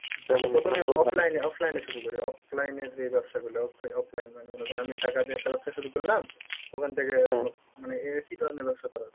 offline এ offline এ শুরু করি offline এ যে ব্যাবসা গুলো off~offline মানে মনে করো আমি টাকা দিয়ে একটা ব্যবসা শুরু করলাম ওখান থেকে মানে একি ধরনের ব্যবসা করা যায়?